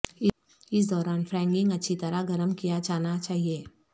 اس دوران فراانگ اچھی طرح گرم کیا جانا چاہئے